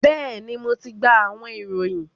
bẹẹni, Mo ti gba awọn irohin